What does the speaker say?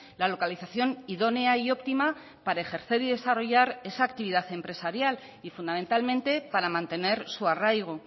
la localización idónea y óptima para ejercer y desarrollar esa actividad empresarial y fundamentalmente para mantener su arraigo